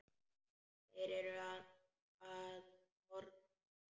Þeir eru að norðan.